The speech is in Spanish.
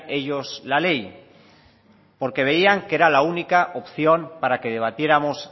ellos la ley porque veían que era la única opción para que debatiéramos